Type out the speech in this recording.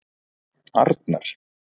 Arnar